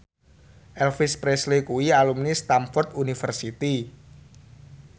Elvis Presley kuwi alumni Stamford University